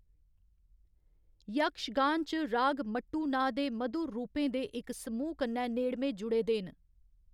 यक्षगान च राग मट्टू नांऽ दे मधुर रूपें दे इक समूह् कन्नै नेड़मे जुड़े दे न।